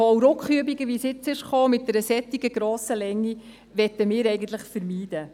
Hauruckübungen, die wie jetzt durch eine solche Länge dazugekommen sind, möchten wir eigentlich vermeiden.